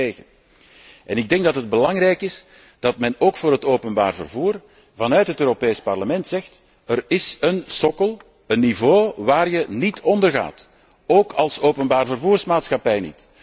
Ik ben daar niet tegen. Het is belangrijk dat men ook voor het openbaar vervoer vanuit het Europees Parlement zegt er is een sokkel, een niveau waar je niet onder gaat, ook niet als openbaarvervoermaatschappij.